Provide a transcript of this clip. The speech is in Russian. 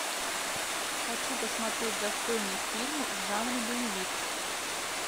хочу посмотреть достойный фильм в жанре боевик